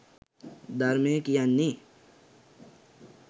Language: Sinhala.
ධර්මය කියන්නේ